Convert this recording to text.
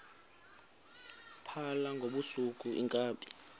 phala ngobusuku iinkabi